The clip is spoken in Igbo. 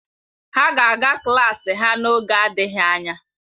Ha ga-aga klaasị ha n'oge adịghị anya